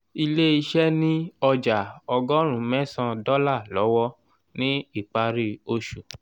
ilé iṣẹ́ ni ọjà ọgọ́rùn mẹsan dọ́là lọ́wọ́ ni ìpárí oṣù